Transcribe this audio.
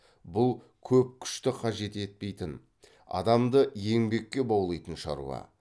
бұл көп күшті қажет етпейтін адамды еңбекке баулитын шаруа